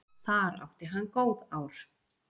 Þar átti hann góð ár.